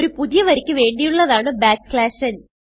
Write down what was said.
ഒരു പുതിയ വരിക്ക് വേണ്ടിയുള്ളതാണ് n